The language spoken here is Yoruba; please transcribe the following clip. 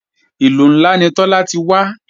Ìlú ńlá ni Tọ́lá ti wá